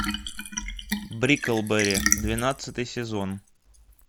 бриклберри двенадцатый сезон